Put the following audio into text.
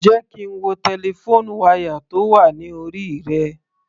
Jẹ́ kí n wo telephone wire tó wà ní orí rẹ.